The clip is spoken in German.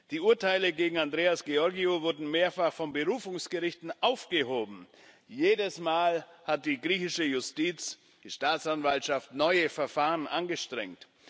Die Urteile gegen Andreas Georgiou wurden mehrfach von Berufungsgerichten aufgehoben jedes Mal hat die griechische Justiz, die Staatsanwaltschaft, neue Verfahren angestrengt.